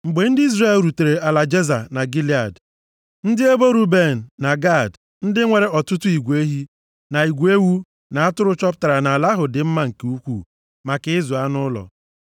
Mgbe ndị Izrel rutere ala Jeza na Gilead, ndị ebo Ruben na Gad ndị nwere ọtụtụ igwe ehi, na igwe ewu na atụrụ chọpụtara na ala ahụ dị mma nke ukwuu maka ịzụ anụ ụlọ.